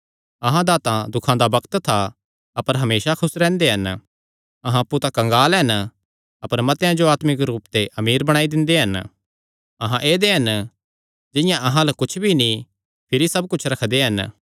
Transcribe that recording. अहां दा तां दुखां दा बग्त था अपर हमेसा खुस रैंह्दे हन अहां अप्पु तां कंगाल हन अपर मतेआं जो आत्मिक रूप ते अमीर बणाई दिंदे हन अहां ऐदेय हन जिंआं अहां अल्ल कुच्छ नीं भिरी सब कुच्छ रखदे हन